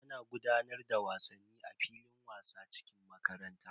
Ana gudanar da wasanni a filin wasa cikin makarantar.